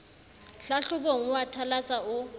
hlahlobong o a thalatsa o